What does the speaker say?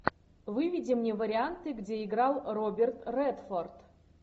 выведи мне варианты где играл роберт редфорд